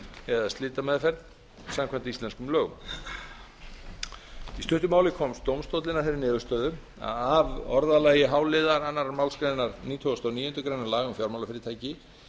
eða slitameðferð samkvæmt íslenskum lögum í stuttu máli komst dómstóllinn að þeirri niðurstöðu að af orðalagi h liðar annarrar málsgreinar nítugasta og níundu grein laga um fjármálafyrirtæki